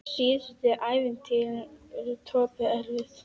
Síðustu æviárin voru Tobbu erfið.